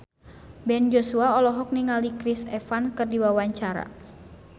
Ben Joshua olohok ningali Chris Evans keur diwawancara